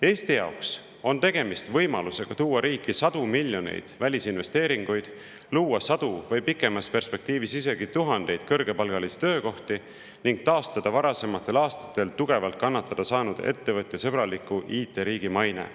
Eesti jaoks on tegemist võimalusega tuua riiki sadu miljoneid välisinvesteeringuid, luua sadu või pikemas perspektiivis isegi tuhandeid kõrgepalgalisi töökohti ning taastada varasematel aastatel tugevalt kannatada saanud ettevõtjasõbraliku IT-riigi maine.